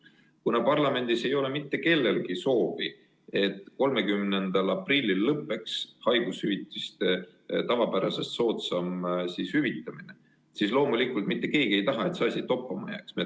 Kuna parlamendis ei ole mitte kellelgi soovi, et 30. aprillil lõppeks haigushüvitiste tavapärasest soodsam hüvitamine, siis loomulikult mitte keegi ei taha, et see asi toppama jääks.